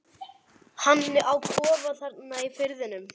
Hann á kofa þarna í firðinum.